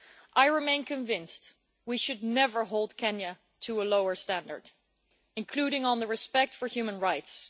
I remain convinced that we should never hold Kenya to a lower standard, including on the respect for human rights.